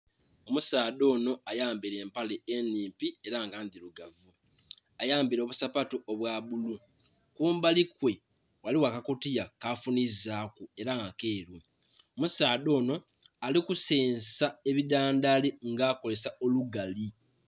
Omusaadha onho ayambeire empale enhimpi era nga ndhilugavu, ayambeire obusapatu obwabbulu kumbalikwe ghaligho akakutiya kafunhizaku era nga keeru. Omusaadha onho alikusensa ebidhandhali nga akolesa olugali .